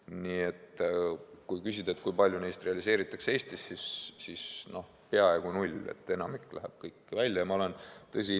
Nii et kui küsida, kui palju nahkadest realiseeritakse Eestis, siis peaaegu null – enamik läheb kõik välja.